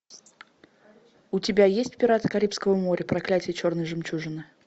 у тебя есть пираты карибского моря проклятие черной жемчужины